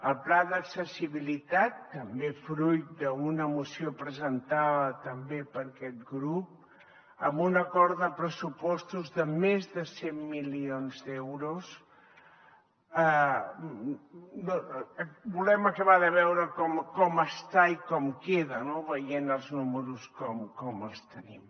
el pla d’accessibilitat també fruit d’una moció presentada també per aquest grup amb un acord de pressupostos de més de cent milions d’euros volem acabar de veure com està i com queda no veient els números com els tenim